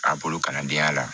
A bolo kalandenya la